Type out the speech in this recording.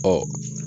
Ɔ